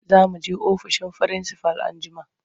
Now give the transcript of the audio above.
Za mu je ofishin firinsifal anjima.